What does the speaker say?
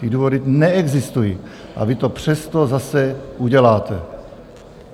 Ty důvody neexistují, a vy to přesto zase uděláte.